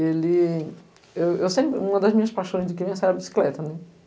Ele... Eu eu sempre... Uma das minhas paixões de criança era bicicleta, né.